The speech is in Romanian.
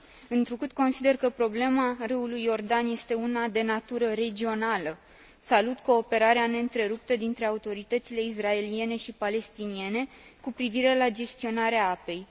Întrucât consider că problema râului Iordan este una de natură regională, salut cooperarea neîntreruptă dintre autoritățile israeliene și palestiniene cu privire la gestionarea apei.